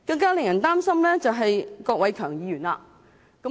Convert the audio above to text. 更令人擔心的是郭偉强議員。